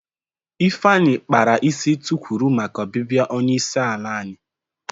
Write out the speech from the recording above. Ifeanyi kpara isi tukwuru maka obibia onye isi ala anyi.